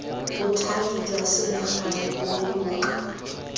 bothati jwa selegae bo boloka